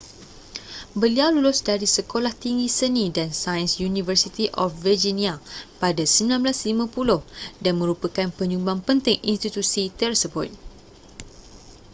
beliau lulus dari sekolah tinggi seni & sains university of virginia pada 1950 dan merupakan penyumbang penting institusi tersebut